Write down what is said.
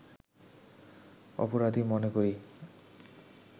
অপরাধী মনে করি